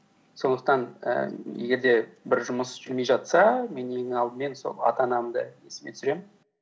сондықтан і егер де бір жұмыс жүрмей жатса мен ең алдымен сол ата анамды есіме түсіремін